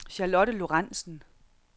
Charlotte Lorenzen